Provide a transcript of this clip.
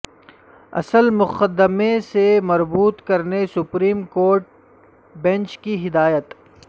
اصل مقدمہ سے مربوط کرنے سپریم کورٹ بنچ کی ہدایت